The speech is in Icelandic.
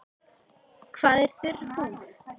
Hvað er þurr húð?